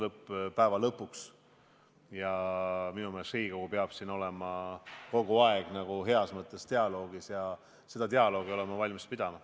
Minu meelest peab Riigikogu siin kogu aeg heas mõttes dialoogis osalema ja seda dialoogi olen ma valmis pidama.